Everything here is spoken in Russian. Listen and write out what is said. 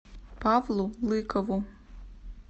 павлу лыкову